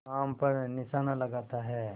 आम पर निशाना लगाता है